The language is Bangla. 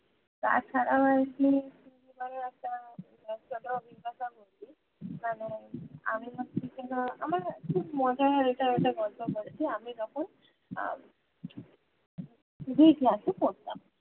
তাছাড়াও আর কি school জীবনে একটা ছোট্ট অভিজ্ঞতা বলি মানে আমি হচ্ছি কিনা আমার খুব মজা হয় এটা ওটা গল্প করেছি আমি যখন class এ পড়তাম